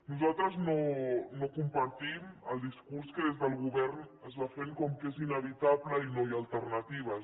nosaltres no compartim el discurs que des del govern es va fent que és inevitable i no hi ha alternatives